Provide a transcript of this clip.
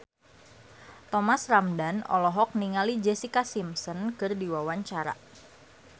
Thomas Ramdhan olohok ningali Jessica Simpson keur diwawancara